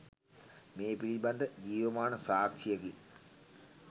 මේ පිළිබඳ ජීවමාන සාක්ෂියකි